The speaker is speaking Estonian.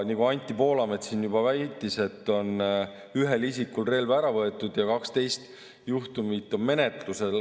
Nagu Anti Poolamets väitis, et ühelt isikult on relv ära võetud ja 12 juhtumit on menetluses.